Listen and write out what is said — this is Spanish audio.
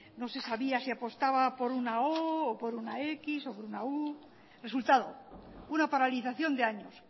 no se sabía si apostaba por una o o por una décimo o por una u resultado una paralización de años